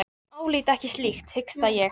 Ég álít ekkert slíkt, hiksta ég.